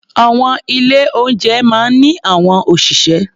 Àwọn ilé-oúnjẹ máa ń ní àwọn òṣìṣẹ́.